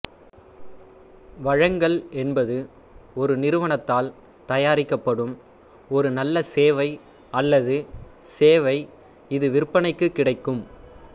வழங்கல் என்பது ஒரு நிறுவனத்தால் தயாரிக்கப்படும் ஒரு நல்ல சேவை அல்லது சேவை இது விற்பனைக்கு கிடைக்கும்